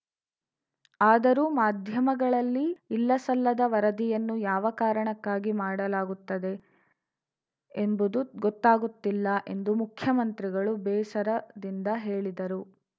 ಆದರೂ ಮಾಧ್ಯಮಗಳಲ್ಲಿ ಇಲ್ಲಸಲ್ಲದ ವರದಿಯನ್ನು ಯಾವ ಕಾರಣಕ್ಕಾಗಿ ಮಾಡಲಾಗುತ್ತದೆ ಎಂಬುದು ಗೊತ್ತಾಗುತ್ತಿಲ್ಲ ಎಂದು ಮುಖ್ಯಮಂತ್ರಿಗಳು ಬೇಸರದಿಂದ ಹೇಳಿದರು